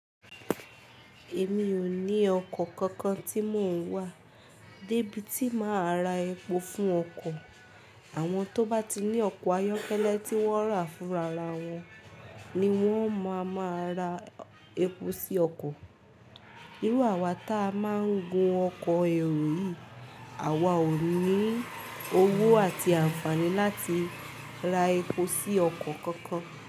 Èmi ò ní ọkọ̀ kankan tí mò ń wà, dé bí ti máa ra epo fún ọkọ̀. Àwọn tó bá ti ní ọkọ̀ ayọ́kẹ́lẹ́ tí wọ́n rà fún rara wọn ní wọ́n máa máa ra epo sí ọkọ̀. Irú àwá ta máa ń gun ọkọ̀ èrò yìí, àwa ò ní owó àti àǹfààní láti ra epo sí ọkọ̀ kankan.